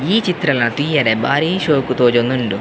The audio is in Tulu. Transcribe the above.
ಈ ಚಿತ್ರಣ ತೂವರೆ ಬಾರಿ ಶೋಕು ತೋಜೊಂದುಂಡು.